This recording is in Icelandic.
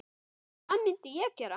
En hvað myndi ég gera?